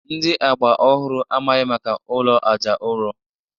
Ndi agba ọhụrụ amaghị maka ụlọ aja ụrọ